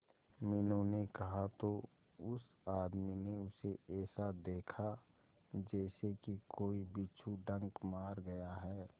मीनू ने कहा तो उस आदमी ने उसे ऐसा देखा जैसे कि कोई बिच्छू डंक मार गया है